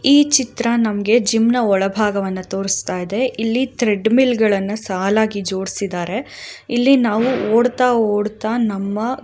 ಈ ಚಿತ್ರ ನಮ್ಗೆ ಜಿಮ್ನ ಒಳಭಾಗವನ್ನು ತೋರಸ್ತಾ ಇದೆ ಇಲ್ಲಿ ತ್ರೆಡ್ಮಿಲ್ಗಳನ್ನ ಸಾಲಾಗಿ ಜೋಡಿಸಿದಾರೆ ಇಲ್ಲಿ ನಾವು ಓಡ್ತಾಓಡ್ತಾ ನಮ್ಮ --